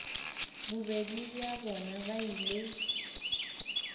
bobedi bja bona ba ile